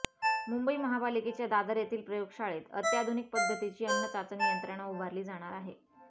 मुंबई महापालिकेच्या दादर येथील प्रयोगशाळेत अत्याधुनिक पद्धतीची अन्नचाचणी यंत्रणा उभारली जाणार आहे